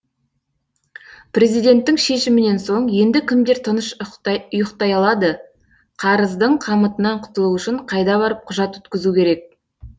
президенттің шешімінен соң енді кімдер тыныш ұйықтай алады қарыздың қамытынан құтылу үшін қайда барып құжат өткізу керек